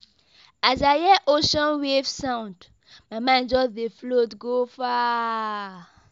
As I hear ocean wave sound, my mind just dey float go far.